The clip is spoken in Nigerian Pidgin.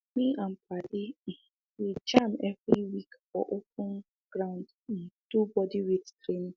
me and padi um dey jam every week for open um ground um do bodyweight training